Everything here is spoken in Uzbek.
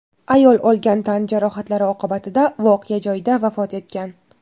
Ayol olgan tan jarohatlari oqibatida voqea joyida vafot etgan.